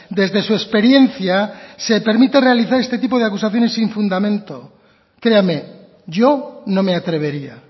desde su experiencia se permita realizar este tipo de acusaciones sin fundamento créame yo no me atrevería